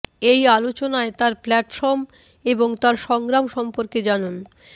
এই আলোচনায় তার প্ল্যাটফর্ম এবং তার সংগ্রাম সম্পর্কে জানুন